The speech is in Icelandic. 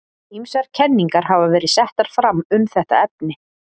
Ýmsar kenningar hafa verið settar fram um þetta efni.